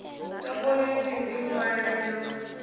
topoleni ni ḽi ṅwale no